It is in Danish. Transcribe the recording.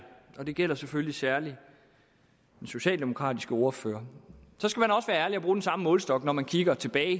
og det gælder selvfølgelig særlig den socialdemokratiske ordfører og bruge den samme målestok når man kigger tilbage